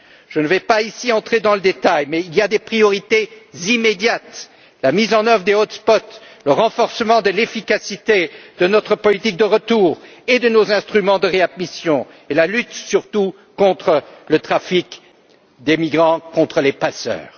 Je ne vais pas ici entrer dans le détail, mais il y a des priorités immédiates la mise en œuvre des points d'accès le renforcement de l'efficacité de notre politique de retour et de nos instruments de réadmission et surtout la lutte contre le trafic des migrants par les passeurs.